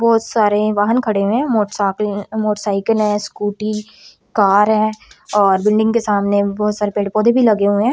बहोत सारे वाहन खड़े हुए है मोटसाकले मोटरसाइकिले स्कूटी कार है और बिल्डिंग के सामने बहुत सारे पेड़ पौधे भी लगे हुएं--